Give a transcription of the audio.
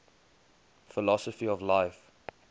philosophy of life